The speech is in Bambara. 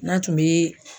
N'a tun bɛ